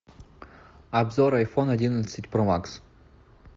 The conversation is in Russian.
обзор айфон одиннадцать про макс